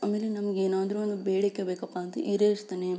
ಆಮೇಲೆ ನಮಿಗೆ ಏನಾದ್ರು ಒಂದು ಬೇಡಿಕೆ ಬೇಕಪಾ ಅಂದ್ರೆ ಈಡೇರಿಸುತ್ತಾನೆ